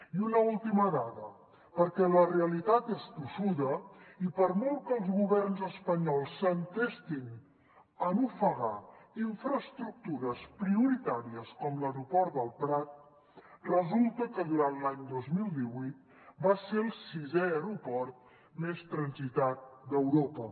i una última dada perquè la realitat és tossuda i per molt que els governs espanyols s’entestin en ofegar infraestructures prioritàries com l’aeroport del prat resulta que durant l’any dos mil divuit va ser el sisè aeroport més transitat d’europa